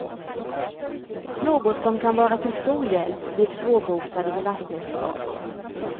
Något som kan vara till stor hjälp vid svårbotade belastningsskador.